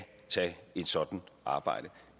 tage et sådant arbejde